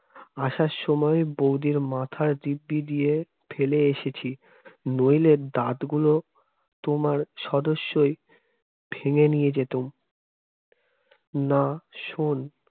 আসার সময় বৌদির মাথার দিব্যি দিয়ে ফেলে এসেছি নইলে দাঁতগুলো তোমার সদস্যই ভেঙে নিয়ে যেতাম না শোন